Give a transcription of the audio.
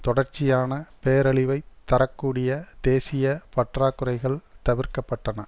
தொடர்ச்சியான பேரழிவை தர கூடிய தேசிய பற்றாக்குறைகள் தவிர்க்கப்பட்டன